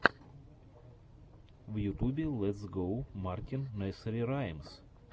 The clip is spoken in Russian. в ютубе летс гоу мартин несери раймс